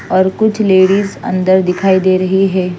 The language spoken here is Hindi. और कुछ लेडीज अन्दर दिखाई दे रही हैं।